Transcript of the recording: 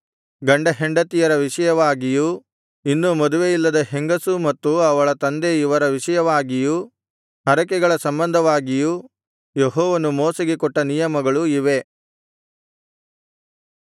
ಗಂಡಹೆಂಡತಿಯರ ವಿಷಯವಾಗಿಯೂ ಇನ್ನೂ ಮದುವೆಯಿಲ್ಲದ ಹೆಂಗಸು ಮತ್ತು ಅವಳ ತಂದೆ ಇವರ ವಿಷಯವಾಗಿಯೂ ಹರಕೆಗಳ ಸಂಬಂಧವಾಗಿಯೂ ಯೆಹೋವನು ಮೋಶೆಗೆ ಕೊಟ್ಟ ನಿಯಮಗಳು ಇವೇ